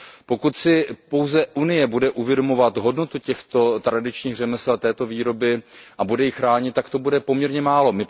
Pokud si pouze Evropská unie bude uvědomovat hodnotu těchto tradičních řemesel a této výroby a bude ji chránit, tak to bude poměrně málo.